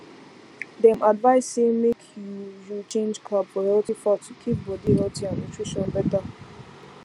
dem advise say make you you change carb for healthy fat to keep body healthy and nutrition better